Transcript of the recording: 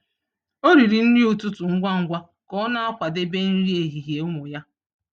Ọ riri nri ụtụtụ ngwa ngwa ka ọ na-akwadebe nri ehihie ụmụ ya.